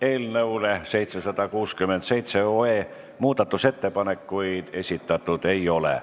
Eelnõu 767 kohta muudatusettepanekuid esitatud ei ole.